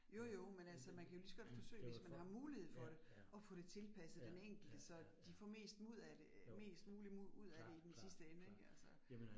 Jo jo, men altså man kan jo ligeså godt forsøge, hvis man har mulighed for det at få det tilpasset den enkelte, så de får mest ud af det, mest muligt ud af det i den sidste ende ik altså